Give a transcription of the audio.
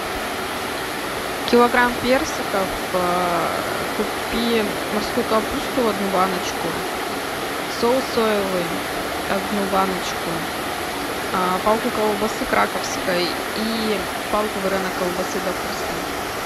килограмм персиков купи морскую капусту одну баночку соус соевый одну баночку палку колбасы краковской и палку вареной колбасы докторской